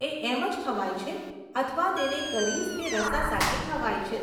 એ એમ જ ખવાય છે અથવા તેને કરીઝ કે રસા સાથે ખવાય છે.